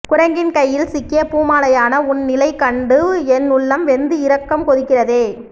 குரங்கின் கையில் சிக்கிய பூமாலையான உன் நிலை கண்டு என் உள்ளம் வெந்து இரத்தம் கொதிக்கிறதே